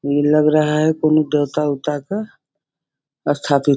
नहीं लग रहा है। कौनों देवता वेवता का स्थापित --